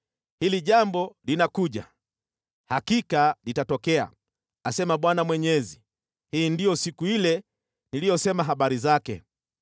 Hili jambo linakuja! Hakika litatokea, asema Bwana Mwenyezi. Hii ndiyo siku ile niliyosema habari zake.